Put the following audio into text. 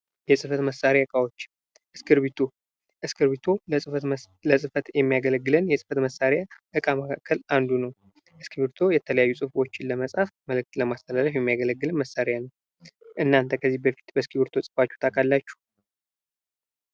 የጽፈት መሳሪያ እቃዎች እስኪብሪቶ ለጽህፈት የሚያገለግለን የጽህፈት መሳሪያ እቃ መካከል አንዱ ነው። እስኪሪቶ የተለያዩ ጽሁፎችን ለመጻፍ መልእክት ለማስተላለፍ የሚያገለግ መሳሪያ ነው። እናንተ ከዚህ በፊት እስክብሪቶ ፅፋችሁ ታውቃላችሁ?